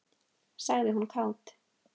sagði hún kát.